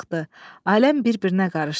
Aləm bir-birinə qarışdı.